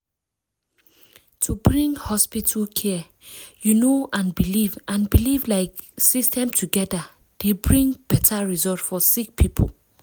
wait- to bring hospital care you know and belief and belief like system togeda dey bring beta result for sick poeple.